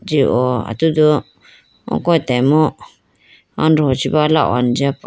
ji oh atudu oko atambro andoho chi bo ala hone jiyapo.